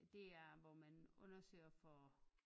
Det hvor man undersøger for